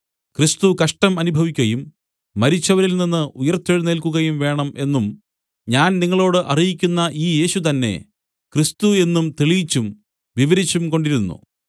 ക്രിസ്തു കഷ്ടം അനുഭവിക്കയും മരിച്ചവരിൽനിന്ന് ഉയിർത്തെഴുന്നേല്ക്കുകയും വേണം എന്നും ഞാൻ നിങ്ങളോട് അറിയിക്കുന്ന ഈ യേശു തന്നെ ക്രിസ്തു എന്നും തെളിയിച്ചും വിവരിച്ചും കൊണ്ടിരുന്നു